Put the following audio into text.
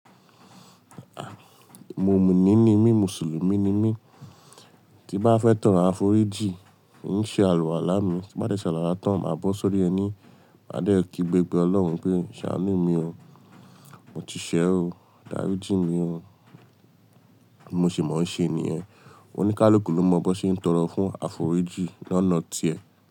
Mumini ni mí, Mùsùlùmí ni mí. Tí n bá fẹ́ tọrọ àforíjì n ṣe àlùwàlá mi, tí n bá dẹ̀ ṣe àlùwàlá mi tán má bọ́ sórí ẹní mi má sọ fún ọlọ́run pé mo ti ṣẹ̀ o bí mo ṣe mọ̀ ń ṣe nìyẹn oni káluki ló mọ bó ṣe ń tọrọ fún áforíjì lọ́nà ti ẹ.